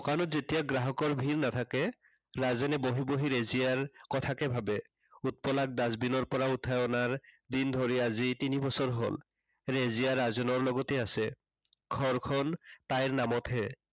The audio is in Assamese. দোকানত যেতিয়া গ্ৰাহকৰ ভীৰ নাথাকে, ৰাজেনে বহি বহি ৰেজিয়াৰ কথাকে ভাবে। উৎপলাক dustbin ৰ পৰা উঠাই অনাৰ দিন ধৰি, আজি তিনি বছৰ হল। ৰেজিয়া ৰাজেনৰ লগতে আছে। ঘৰখন তাইৰ নামতহে